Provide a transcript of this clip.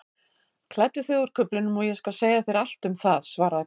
Klæddu þig úr kuflinum og ég skal segja þér allt um það svaraði konan.